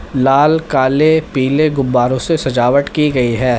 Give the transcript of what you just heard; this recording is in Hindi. लाल काले पीले गुब्बारों से सजावट की गई है।